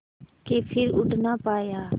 के फिर उड़ ना पाया